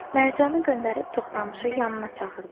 Mərcanı göndərib Toxtamışı yanına çağırdı.